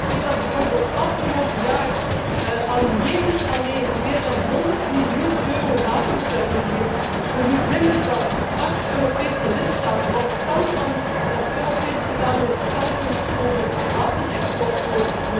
Als ik zie dat bijvoorbeeld afgelopen jaar aan Jemen alleen voor meer dan honderd miljoen euro aan wapens werd geleverd door niet minder dan acht Europese lidstaten, wat stelt dan dat Europees gezamenlijk standpunt over wapenexport voor?